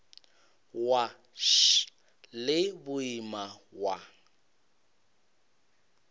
wa š le boima wa